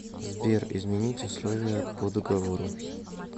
сбер изменить условия по договору